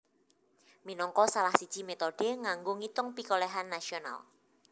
minangka salah siji métode kanggo ngitung pikolèhan nasional